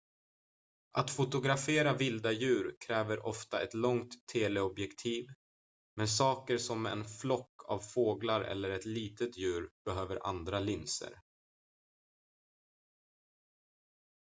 att fotografera vilda djur kräver ofta ett långt teleobjektiv men saker som en flock av fåglar eller ett litet djur behöver andra linser